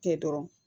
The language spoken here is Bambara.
Kɛ dɔrɔn